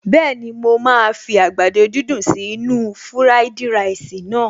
Bẹ́ẹ̀ni, mo máa fi àgbàdo dídùn sí inú-u fúráìdì ráìsì naa